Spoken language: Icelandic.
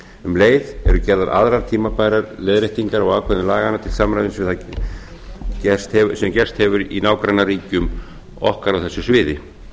um leið eru gerðar aðrar tímabærar leiðréttingar á ákvæðum laganna til samræmis við það sem gerst hefur í nágrannaríkjum okkar á þessu sviði